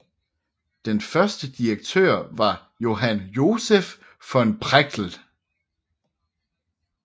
Den første direktør var Johann Joseph von Prechtl